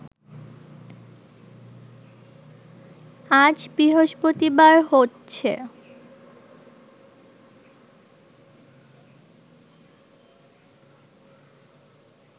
আজ বৃহস্পতিবার হচ্ছে